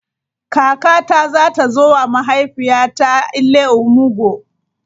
Kakata za ta zo wa mahaifiyata 'Ile omugwo'.